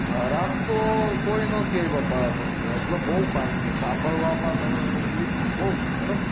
ખરાબ તો કોઈ ન કે બાપા પણ બઉ fine છે સંભાળવા માં english સરસ